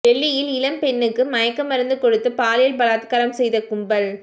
டெல்லியில் இளம்பெண்ணுக்கு மயக்க மருந்து கொடுத்து பாலியல் பலாத்காரம் செய்த கும்பல்